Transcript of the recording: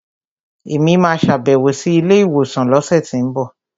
Èmi máa sàbẹ̀wò sí ilé ìwòsàn lọ́sẹ̀tínbọ̀